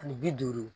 Ani bi duuru